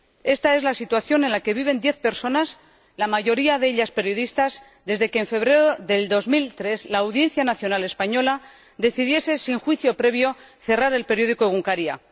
Ésta es la situación en la que viven diez personas, la mayoría de ellas periodistas, desde que, en febrero de 2003, la Audiencia Nacional española decidiese, sin juicio previo, cerrar el periódico Egunkaria